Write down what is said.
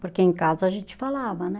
Porque em casa a gente falava, né?